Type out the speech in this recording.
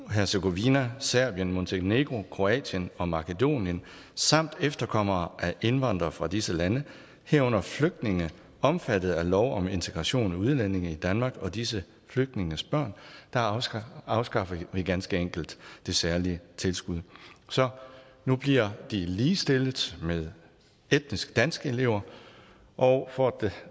hercegovina serbien montenegro kroatien og makedonien samt efterkommere af indvandrere fra disse lande herunder flygtninge omfattet af lov om integration af udlændinge i danmark og disse flygtninges børn afskaffer man ganske enkelt det særlige tilskud så nu bliver de ligestillet med etnisk danske elever og for at